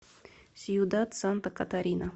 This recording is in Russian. сьюдад санта катарина